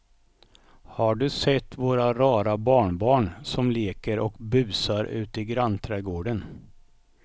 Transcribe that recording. Har du sett våra rara barnbarn som leker och busar ute i grannträdgården!